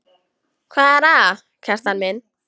Hvað er að, Kjartan minn?